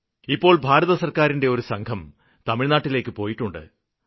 ഇപ്പോള് ഭാരതസര്ക്കാരിന്റെ ഒരു സംഘം തമിഴ്നാട്ടിലേക്ക് പോയിട്ടുണ്ട്